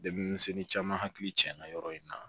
Deminsɛnni caman hakili tiɲɛna yɔrɔ in na